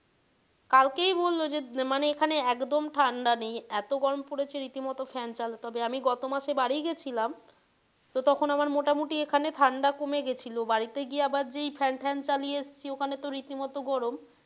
কালকেই বললো যে এখানে একদম ঠাণ্ডা নেই এতো গরম পড়েছে রীতিমত fan চালাতে হচ্ছে তবে আমি গত মাসে বাড়ি গেছিলাম তো তখন আমার মোটামটি এখানে ঠাণ্ডা কমে গিয়েছিলো বাড়িতে গিয়ে আবার যেই fan ট্যান চালিয়ে এসছিল ওখানে তো রীতিমত গরম,